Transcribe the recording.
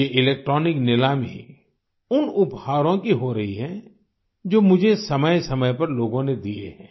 ये इलेक्ट्रॉनिक नीलामी उन उपहारों की हो रही है जो मुझे समयसमय पर लोगों ने दिए हैं